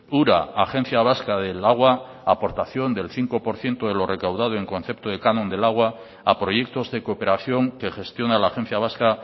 ura agencia vasca del agua aportación del cinco por ciento de lo recaudado en concepto de canon del agua a proyectos de cooperación que gestiona la agencia vasca